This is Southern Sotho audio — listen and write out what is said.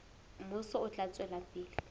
mmuso o tla tswela pele